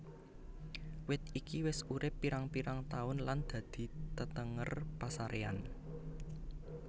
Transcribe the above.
Wit iki wis urip pirang pirang taun lan dadi tetenger pasaréyan